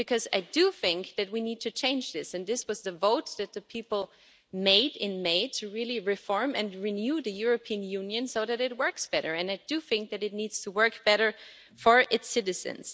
I do think that we need to change this, and this was the vote that the people cast in May to really reform and renew the European Union so that it works better and I do think that it needs to work better for its citizens.